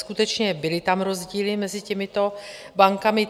Skutečně byly tam rozdíly mezi těmito bankami.